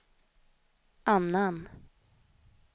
annan